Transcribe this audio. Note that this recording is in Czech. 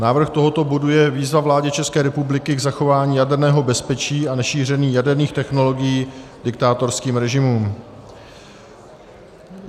Návrh tohoto bodu je Výzva vládě České republiky k zachování jaderného bezpečí a nešíření jaderných technologií diktátorským režimům.